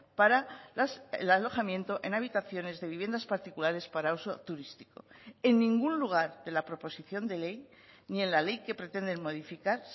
para el alojamiento en habitaciones de viviendas particulares para uso turístico en ningún lugar de la proposición de ley ni en la ley que pretenden modificar